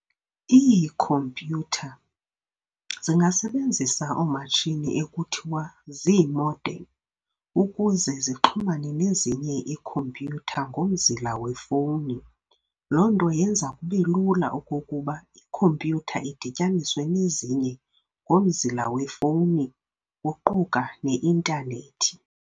Ii-"Computer" zingasebenzisa oomatshini ekuthiwa zii'modern' ukuze zixhumane nezinye ii'computer' ngomzila wefowuni. Loo nto yenza kubelula okokuba I'computer' idityaniswe nezinye ] ngomzila wefowuni, kuquka ne-intanethi.